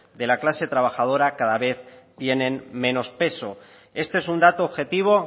de la clase trabajadora cada vez tienen menos peso este es un dato objetivo